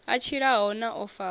a tshilaho na o faho